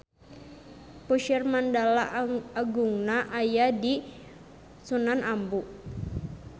Puseur Mandala Agungna aya di Sunan Ambu